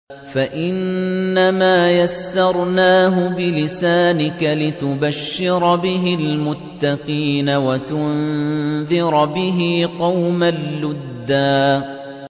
فَإِنَّمَا يَسَّرْنَاهُ بِلِسَانِكَ لِتُبَشِّرَ بِهِ الْمُتَّقِينَ وَتُنذِرَ بِهِ قَوْمًا لُّدًّا